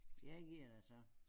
Ja gu er det så